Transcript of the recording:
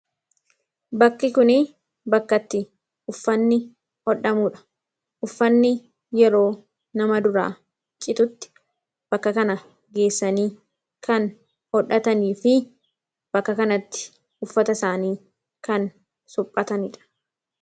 bakki kuni bakkatti uffanni hodhamuudha uffanni yeroo nama duraa cixutti bakka kana geessanii kan hodhatanii fi bakka kanatti uffata isaanii kan suphataniidha